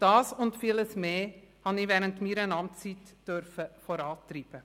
Dies und vieles mehr habe ich während meiner Amtszeit vorantreiben dürfen.